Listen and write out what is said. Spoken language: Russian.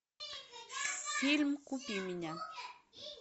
фильм купи меня